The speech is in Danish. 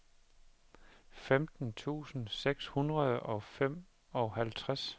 femten tusind seks hundrede og femoghalvtreds